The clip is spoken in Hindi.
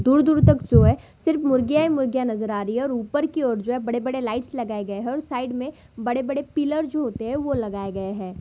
दूर-दूर तक जो है सिर्फ मुर्गियाँ ही मु‍र्गियाँ नजर आ रही है और ऊपर की ओर जो है बड़े-बड़े लाइट्स लगाए गए है और साइड में बड़े-बड़े पिलर जो होते है वाे लगाए गए हैं।